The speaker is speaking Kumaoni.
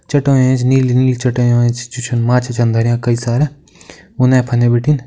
चाटयों ऐंच नीली-नीली चाटयों ऐंच जो छन माच्छा छन धर्यां कई सारा उने-फने भिटिन --